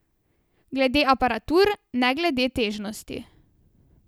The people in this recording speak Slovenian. Glede aparatur, ne glede težnosti.